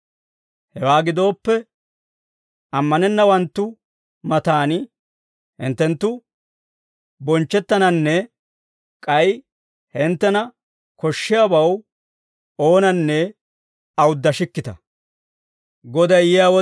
Hewaa gidooppe, ammanennawanttu matan hinttenttu bonchchettananne k'ay hinttena koshshiyaabaw oonanne awuddashikkita.